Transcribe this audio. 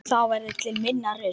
Þá verður til minna rusl.